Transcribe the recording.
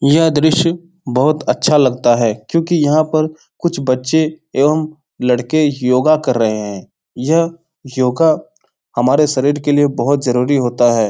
यह दृश्य बहुत अच्छा लगता है क्यूंकि यहाँ पर कुछ बच्चे एवं लड़के योगा कर रहें हैं। यह योगा हमारे शरीर के लिए बहुत जरुरी होता है।